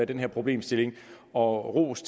den her problemstilling og ros